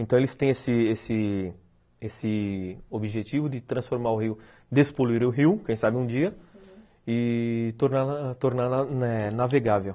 Então eles têm esse esse esse objetivo de transformar o rio, despoluir o rio, quem sabe um dia, e torná-lo torná-lo navegável.